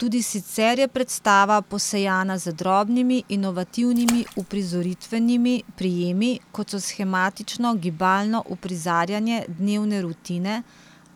Tudi sicer je predstava posejana z drobnimi inovativnimi uprizoritvenimi prijemi, kot so shematično gibalno uprizarjanje dnevne rutine